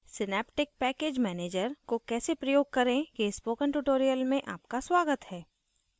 synaptic package manager को कैसे प्रयोग करें के spoken tutorial में आपका स्वागत है